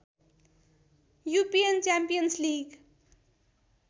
युपियन champions league